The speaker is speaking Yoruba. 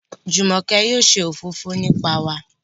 Jumoke yóò ṣe òfófó nípa wà